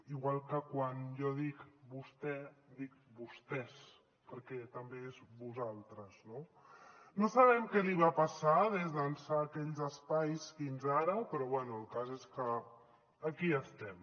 igual que quan jo dic vostè dic vostès perquè també és vosaltres no no sabem què li va passar d’ençà aquells espais fins ara però bé el cas és que aquí estem